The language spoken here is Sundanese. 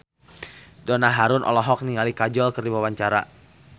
Donna Harun olohok ningali Kajol keur diwawancara